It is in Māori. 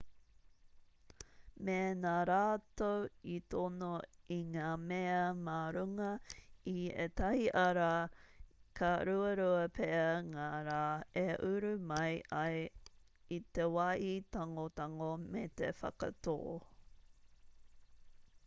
mēnā rātou i tono i ngā mea mā runga i ētahi ara ka ruarua pea ngā rā e uru mai ai i te wāhi tangotango me te whakatō